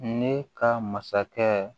Ne ka masakɛ